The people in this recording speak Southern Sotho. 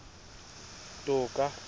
toka